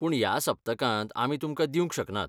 पूण ह्या सप्तकांत आमी तुमकां दिवंक शकनात.